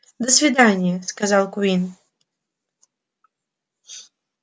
до свидания сказал куинн